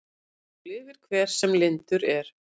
Svo lifir hver sem lyndur er.